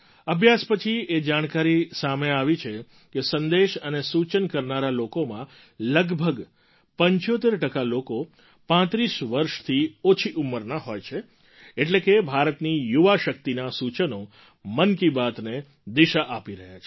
અભ્યાસ પછી એ જાણકારી સામે આવી કે સંદેશ અને સૂચન કરનારા લોકોમાં લગભગ ૭૫ ટકા લોકો ૩૫ વર્ષથી ઓછી ઉંમરના હોય છે એટલે કે ભારતની યુવા શક્તિનાં સૂચનો મન કી બાતને દિશા આપી રહ્યાં છે